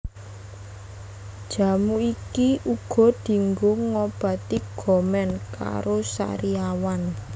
Jamu iki uga dienggo ngobati gomen karo sariawan